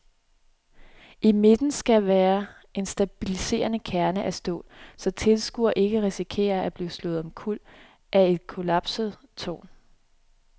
I midten skal være en stabiliserende kerne af stål, så tilskuere ikke risikerer at blive slået omkuld af et kollapset tårn.